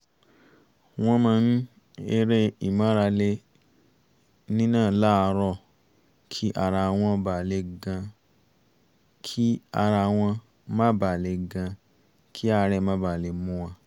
wọ́n máa ń eré ìmárale nínà láàárọ̀ kí ara wọn má ba lè gan kí àárẹ̀ má ba mú wọn